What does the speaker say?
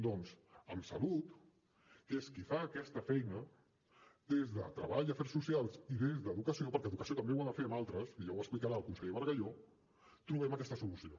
doncs amb salut que és qui fa aquesta feina des de treball i afers socials i des d’educació perquè educació també ho ha de fer amb altres ja ho explicarà el conseller bargalló trobem aquesta solució